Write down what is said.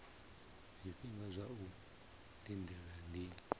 zwifhinga zwa u lindela ndi